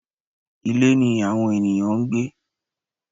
Ilé ni àwọn ènìyàn ń gbé.